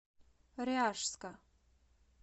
ряжска